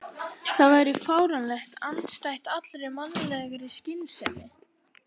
Það væri fáránlegt, andstætt allri mannlegri skynsemi.